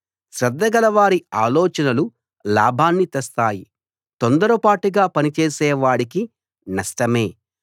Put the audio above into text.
శ్రద్ధగలవారి ఆలోచనలు లాభాన్ని తెస్తాయి తొందరపాటుగా పనిచేసే వాడికి నష్టమే